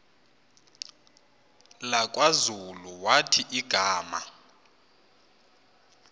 lakwazulu wathi igama